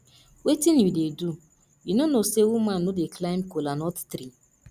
wetin you dey do you no know say woman no dey climb kola nut tree